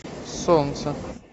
солнце